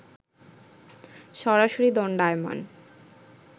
সরাসরি দণ্ডায়মান